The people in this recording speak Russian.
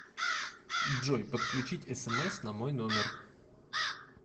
джой подключить смс на мой номер